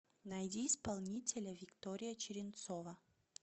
найди исполнителя виктория черенцова